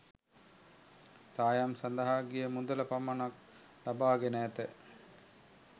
සායම් සඳහා ගිය මුදල පමණක් ලබා ගෙන ඇත.